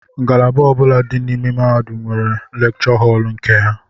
Ngalaba ọbula dị n'ime mahadum nwere lekchọ họl nke ha.